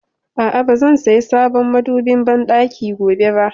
A'a, ba zan saya sabon madobin banɗaki gobe ba